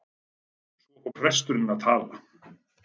Svo fór presturinn að tala.